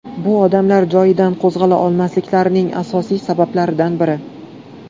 Bu odamlar joyidan qo‘zg‘ala olmasliklarining asosiy sabablaridan biri.